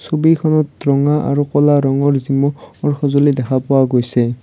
ছবিখনত ৰঙা আৰু কলা ৰঙৰ জিম' অহ ৰ সঁজুলি দেখা পোৱা গৈছে।